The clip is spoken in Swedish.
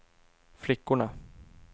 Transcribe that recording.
flickorna